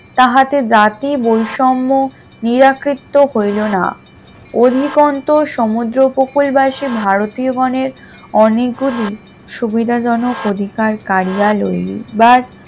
তাহাতে জাতি বৈষম্য নিরাকীত্ব হইল না অধিকান্ত সমুদ্র উপকূল বাসি ভারতীয় গণের অনেক গুলি সুবিধা জনক অধিকার কারিয়া লইলো বা